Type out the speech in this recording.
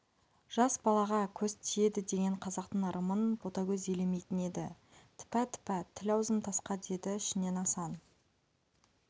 жас балаға көз тиеді деген қазақтың ырымын ботагөз елемейтін еді тіпә-тіпә тіл-аузым тасқа деді ішінен асан